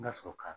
N ka sɔrɔ ka